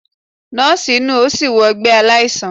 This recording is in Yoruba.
Nọọsi nu o si wọ ọgbẹ alaisan.